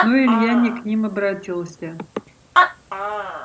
но илья не к ним обратился